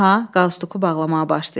Aha, qalstuku bağlamağa başlayır.